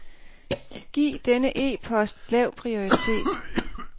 Giv denne e-post lav prioritet.